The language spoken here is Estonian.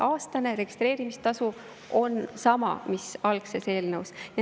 Aastane registreerimistasu on sama, mis algses eelnõus.